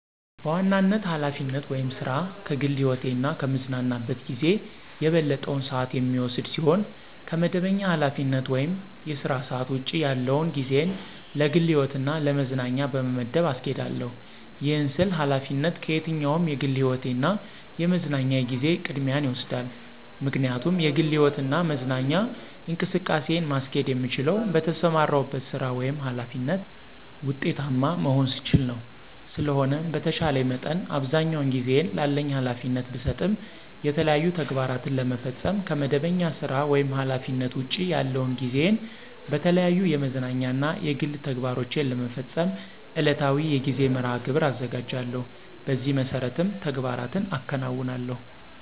በዋናነት ኃላፊነት ወይም ሥራ ከግል ህይወቴ እና ከምዝናናበት ጊዜ የበለጠውን ሰአት የሚወስድ ሲሆን ከመደበኛ ኃላፊነት ወይም የሥራ ሰዓት ውጭ ያለውን ጊዜየን ለግል ህይወትና ለመዝናኛ በመመደብ አስኬዳለሁ። ይህን ስል ኃላፊነት ከየትኛውም የግል ህይወቴ እና የመዝናኛ ጊዜየ ቅድሚያውን ይወስዳል። ምክንያቱም የግል ህይወትና መዝናኛ እንቅስቃሴን ማስኬድ የምችለው በተሰማራሁበት ሥራ ወይም ኃላፊነት ውጤታማ መሆን ስችል ነው። ስለሆነም በተቻለኝ መጠን አብዛኛውን ጊዜየን ላለኝ ኃላፊነት ብሰጥም የተለያዩ ተግባራትን ለመፈፀም ከመደበኛ ሥራ ወይም ኃላፊነት ውጭ ያለውን ጊዜየን በተለያዩ የመዝናኛ እና የግል ተግባሮቸን ለመፈፀም ዕለታዊ የጊዜ መርሐ-ግብር አዘጋጃለሁ። በዚህ መሠረትም ተግባራትን አከናውናለሁ።